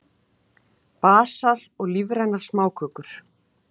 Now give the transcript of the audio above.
Basar og lífrænar smákökur